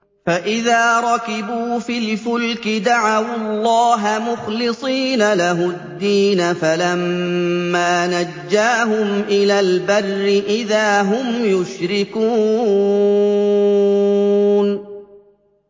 فَإِذَا رَكِبُوا فِي الْفُلْكِ دَعَوُا اللَّهَ مُخْلِصِينَ لَهُ الدِّينَ فَلَمَّا نَجَّاهُمْ إِلَى الْبَرِّ إِذَا هُمْ يُشْرِكُونَ